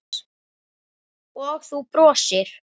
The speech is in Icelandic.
Og þú brosir.